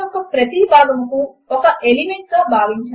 fonts sizes మరియు స్పేసింగ్ ను మార్చడము కొరకు ఫార్మాటింగ్ ను వాడండి